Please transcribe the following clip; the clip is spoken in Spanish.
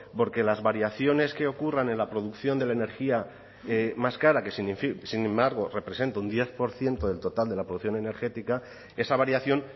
porque las variaciones que ocurran en la producción de la energía más cara que sin embargo representa un diez por ciento del total de la producción energética esa variación